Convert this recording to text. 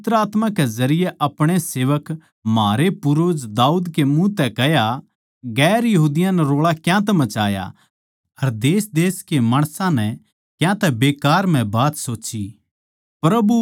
तन्नै पवित्र आत्मा के जरिये अपणे सेवक म्हारे पूर्वज दाऊद के मुँह तै कह्या दुसरी जात्तां नै रोळा क्यांतै मचाया अर देशदेश के माणसां नै क्यांतै बेकार म्ह बात सोच्ची